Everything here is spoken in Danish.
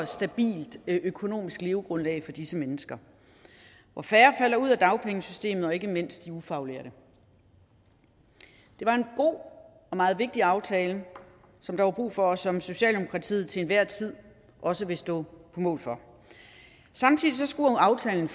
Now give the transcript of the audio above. stabilt økonomisk levegrundlag for disse mennesker hvor færre falder ud af dagpengesystemet ikke mindst blandt de ufaglærte det var en god og meget vigtig aftale som der var brug for og som socialdemokratiet til enhver tid også vil stå på mål for samtidig skulle aftalen